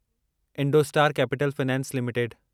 Indostar Capital Finance limited